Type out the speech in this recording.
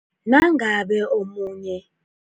Nangabe munye